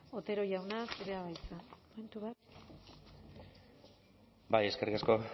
otero jauna zurea da hitza momentu bat bai eskerrik asko